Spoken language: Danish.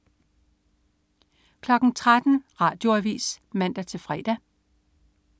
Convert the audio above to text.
13.00 Radioavis (man-fre)